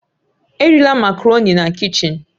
Erila Makaroni na kichin!